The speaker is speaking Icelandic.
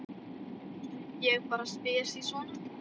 Ég bara spyr sí svona.